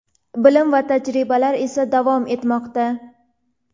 bilim va tajribalar esa davom etmoqda.